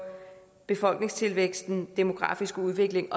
befolkningstilvæksten den demografiske udvikling